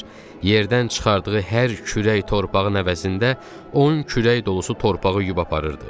Yerdən çıxardığı hər kürək torpağın əvəzində 10 kürək dolusu torpağı yub aparırdı.